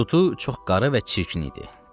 Tutu çox qara və çirkin idi.